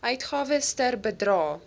uitgawes ter bedrae